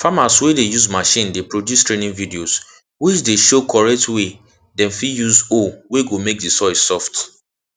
farmers wey dey use machine dey produce training videos which dey show correct way dem fit use hoe wey go make the soil soft